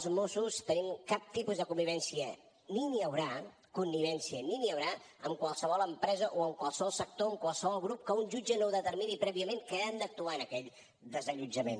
els mossos no tenim cap tipus de connivència ni n’hi haurà connivència ni n’hi haurà amb qualsevol empresa o amb qualsevol sector o amb qualsevol grup que un jutge no determini prèviament que han d’actuar en aquell desallotjament